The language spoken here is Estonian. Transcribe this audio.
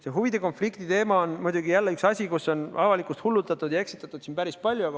See huvide konflikti teema on muidugi jälle üks asi, millega on avalikkust hullutatud ja eksitatud päris palju.